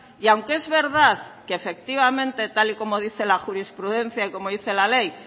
y aunque es verdad que efectivamente tal y como dice la jurisprudencia y como dice la ley